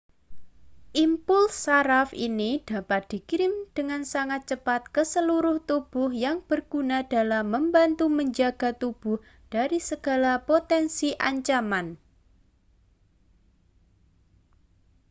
impuls saraf ini dapat dikirim dengan sangat cepat ke seluruh tubuh yang berguna dalam membantu menjaga tubuh dari segala potensi ancaman